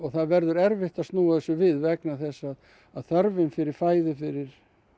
það verður erfitt að snúa þessu við vegna þess að þörfin fyrir fæðu fyrir